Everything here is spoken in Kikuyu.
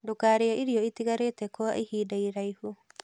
Ndũkarĩe irio itigarĩte kwa ihinda iraihu